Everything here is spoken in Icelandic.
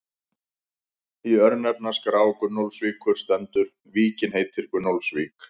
Í örnefnaskrá Gunnólfsvíkur stendur: Víkin heitir Gunnólfsvík.